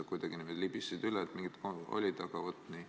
Sa kuidagi niimoodi libisesid üle, et mingid olid.